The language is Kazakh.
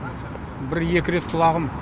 бір екі рет құлағым